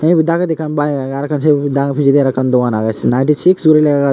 the ibit dagodi ekkan bike age arokkan se pijedi ekkan dogan age ninty six guri lega age sut.